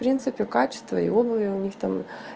в принципе качество и обуви у них там